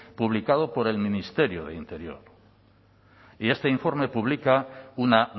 publicado por el ministerio de interior y este informe pública una